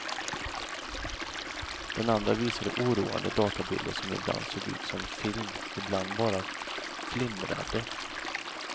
Den andra visade oroande databilder som ibland såg ut som film, ibland bara flimrade.